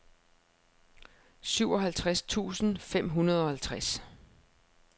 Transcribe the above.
syvoghalvtreds tusind fem hundrede og halvtreds